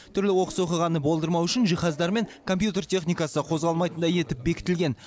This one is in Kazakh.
түрлі оқыс оқиғаны болдырмау үшін жиһаздар мен компьютер техникасы қозғалмайтындай етіп бекітілген